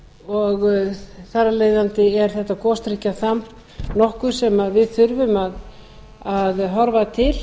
og þar af leiðandi er þetta gosdrykkjaþamb nokkuð sem við þurfum að horfa til